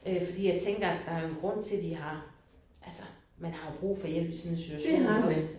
Øh fordi jeg tænker der er jo en grund til de har altså man har jo brug for hjælp i sådan en situation iggås